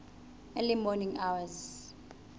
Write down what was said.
early morning hours